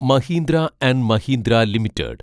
Mahindra and Mahindra limited